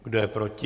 Kdo je proti?